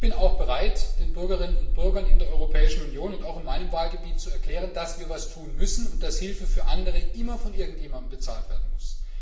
Ich bin auch bereit, den Bürgerinnen und Bürgern in der Europäischen Union und auch in meinem Wahlgebiet zu erklären, dass wir etwas tun müssen und dass Hilfe für andere immer von irgendjemandem bezahlt werden muss.